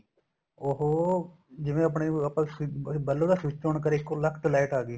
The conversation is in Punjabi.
ਉਹ ਜਿਵੇਂ ਆਪਣੇ ਆਪਾਂ bulb ਦਾ switch on ਕਰੇ ਇੱਕੋ ਲਕ ਤੇ light ਆ ਗਈ